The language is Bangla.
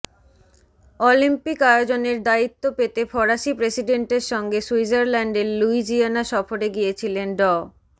অলিম্পিক আয়োজনের দায়িত্ব পেতে ফরাসি প্রেসিডেন্টের সঙ্গে সুইজারল্যান্ডের ল্যুইজিয়ানা সফরে গিয়েছিলেন ড